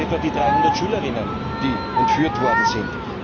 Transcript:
Da sind etwa die 300 Schülerinnen, die entführt worden sind.